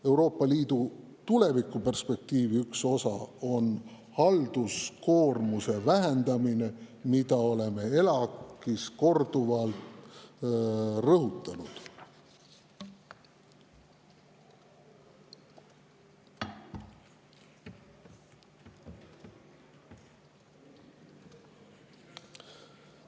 Euroopa Liidu tulevikuperspektiivi üks osa on halduskoormuse vähendamine, mida oleme ELAK‑is korduvalt rõhutanud.